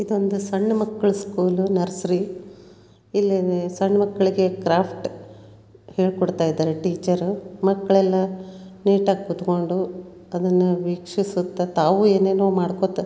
ಇದೊಂದು ಸಣ್ಣ ಮಕ್ಳು ಸ್ಕೂಲು ನರ್ಸರಿ . ಇಲ್ಲಿ ಸಣ್ಣ ಮಕ್ಕಳಿಗೆ ಕ್ರಾಫ್ಟ್ ಹೇಳ್ಕೊಡ್ತಾಯಿದ್ದಾರೆ ಟೀಚರು ಮಕ್ಕಳೆಲ್ಲ ನೀಟಾ ಗಿ ಕೂತ್ಕೊಂಡು ಅದನ್ನು ವೀಕ್ಷಿಸುತ್ತ ತಾವು ಎನೇನೋ ಮಾಡ್ಕೋತ --